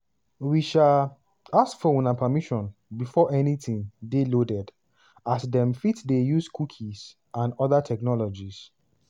we um ask for una permission before anytin dey loaded as dem fit dey use cookies and oda technologies.